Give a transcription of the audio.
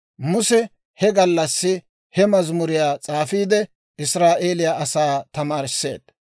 Muse he gallassi he mazimuriyaa s'aafiide, Israa'eeliyaa asaa tamaarisseedda.